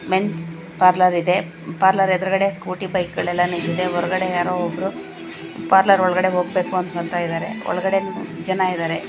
men's parlour ಇದೆ parlour ಎದುರ್ಗಡೇ Scooty ಬೈಕ್ಗಳೆಲ್ಲ ನಿಂತಿದೆ ಹೊರಗಡೆ ಯಾರೋ ಒಬ್ರು ಪಾರ್ಲರ್ ಒಲ್ಗಡೆ ಹೋಗ್ಬೇಕು ಅನ್ಕೊಂತಾಯಿದ್ದಾರೆ ಒಲ್ಗಡೆ ಜನ ಇದ್ದಾರೆ--